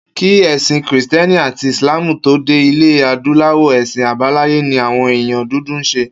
Kí è̩sìn Krìsté̩nì àti Ìsláàmù tó dé ilè̩ adúláwò̩, è̩sìn àbáláyé ni àwo̩n èèyàn dúdú ń s̩e